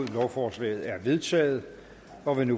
lovforslaget er vedtaget og vil nu